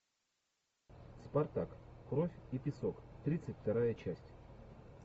спартак кровь и песок тридцать вторая часть